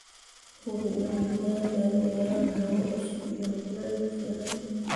Hubi in digaagadu helaan hawo cusub iyo kulayl ku filan.